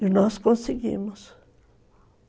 E nós conseguimos.